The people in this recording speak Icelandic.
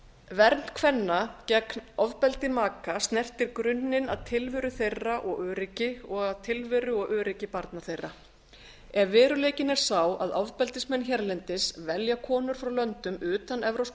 vernd kvenna gegn ofbeldi maka snertir grunninn að tilveru þeirra og öryggi og að tilveru og öryggi barna þeirra ef veruleikinn er sá að ofbeldismenn hérlendis velja konur frá löndum utan e e